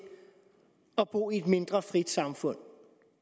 at bo i et mindre frit samfund